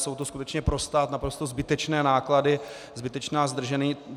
Jsou to skutečně pro stát naprosto zbytečné náklady, zbytečná zdržení.